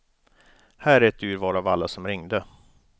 Här är ett urval av alla som ringde.